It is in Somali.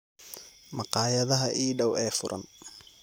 Maqaayadaha ii dhaw ee furan